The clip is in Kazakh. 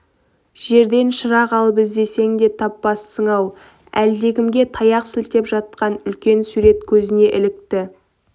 жерден шырақ алып іздесең де таппассың-ау әлдекімге таяқ сілтеп жатқан үлкен сурет көзіне ілікті